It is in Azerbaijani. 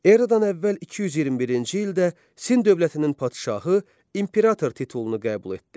Eradan əvvəl 221-ci ildə Sin dövlətinin padşahı imperator titulunu qəbul etdi.